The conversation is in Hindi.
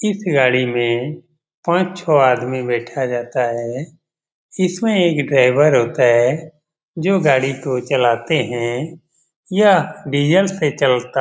इस गाड़ी में पांच-छ आदमी बैठा जाता है। इसमें एक ड्राईवर होता है जो गाड़ी को चलाते है। यह डीजल से चलता --